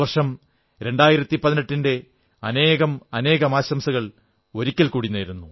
പുതുവർഷം 2018 ന്റെ അനേകാനാകം ആശംസകൾ ഒരിക്കൽ കൂടി